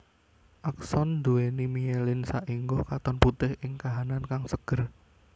Akson nduwèni mielin saéngga katon putih ing kahanan kang seger